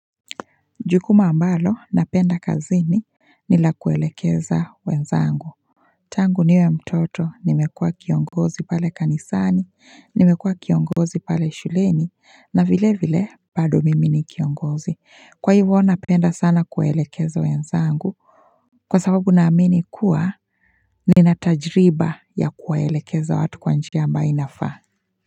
Jukumu ambalo napenda kazini ni la kuelekeza wenzangu Tangu niwe mtoto nimekua kiongozi pale kanisani nimekua kiongozi pale shuleni na vile vile bado mimi ni kiongozi kwa hivyo napenda sana kuelekeza wenzangu Kwa sababu naamini kuwa ninatajriba ya kuelekeza watu kwannjia ambayo inafaa.